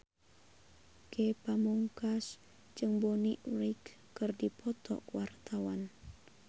Ge Pamungkas jeung Bonnie Wright keur dipoto ku wartawan